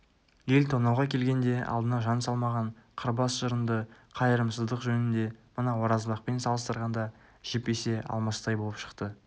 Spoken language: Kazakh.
ел тонауға келгенде алдына жан салмаған қырбас жырынды қайырымсыздық жөнінде мына оразбақпен салыстырғанда жіп есе алмастай болып шықты